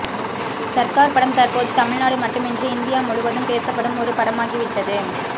சர்கார் படம் தற்போது தமிநாடு மட்டுமின்றி இந்தியா முழுவதும் பேசப்படும் ஒரு படமாகிவிட்டது